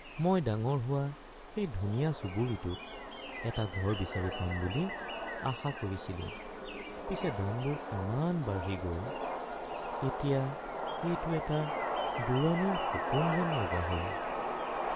মই ডাঙৰ হোৱা সেই ধুনীয়া চুবুৰীটোত এটা ঘৰ বিচাৰি পাম বুলি আশা কৰিছিলো পিছে দামবোৰ ইমান বাঢ়ি গ’ল এতিয়া এইটো এটা দূৰণিৰ সপোন যেন লগা হ’ল।